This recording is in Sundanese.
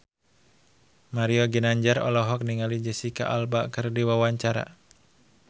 Mario Ginanjar olohok ningali Jesicca Alba keur diwawancara